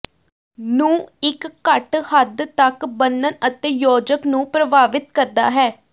ਨੂੰ ਇੱਕ ਘੱਟ ਹੱਦ ਤੱਕ ਬੰਨਣ ਅਤੇ ਯੋਜਕ ਨੂੰ ਪ੍ਰਭਾਵਿਤ ਕਰਦਾ ਹੈ